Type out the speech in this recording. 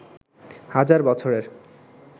হাজার বছরের